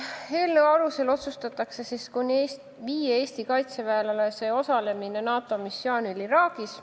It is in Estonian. Eelnõu alusel otsustatakse kuni viie Eesti kaitseväelase osalemine NATO missioonil Iraagis.